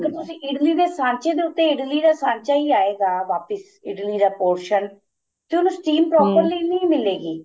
ਅਗਰ ਤੁਸੀਂ ਇਡਲੀ ਦੇ ਸਾਂਚੇ ਦੇ ਉੱਤੇ ਇਡਲੀ ਦਾ ਸਾਂਚਾ ਈ ਆਏਗਾ ਵਾਪਿਸ ਇਡਲੀ ਦਾ ਪੋਸਨ ਤੇ ਉਹਨੂੰ steam ਨੀਂ ਮਿਲੇ ਗੀ